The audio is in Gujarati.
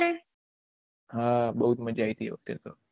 હા બહુ જ માજા આયી થી તે વખતે તો